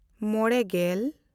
ᱢᱚᱬᱮᱼᱜᱮᱞ